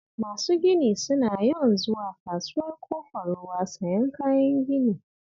Masu gini suna yawan zuwa Kasuwar Ƙofar Ruwa sayan kayan gini